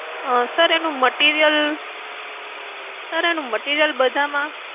અમ sir એનું material, sir એનું material બધામાં